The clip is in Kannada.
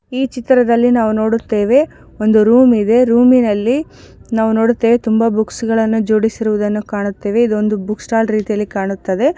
ಈ ಚಿತ್ರದಲ್ಲಿ ನಾವು ನೋಡುತ್ತೇವೆ ಒಂದು ರೂಮ್ ಇದೆ ರೂಮ್ ನಲ್ಲಿ ನಾವು ನೋಡುತ್ತೇವೆ ತುಂಬಾ ಬುಕ್ಸ್ ಜೋಡಿಸುವುದನ್ನವು ಕಾಣುತ್ತವೆ ಇದು ಒಂದು ಬುಕ್ ಸ್ಟಾಲ್ ರೇತಿಯಲ್ಲಿ ಕಾಣುತ್ತೇವೆ.